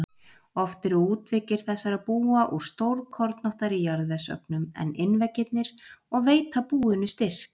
Oft eru útveggir þessara búa úr stórkornóttari jarðvegsögnum en innveggirnir og veita búinu styrk.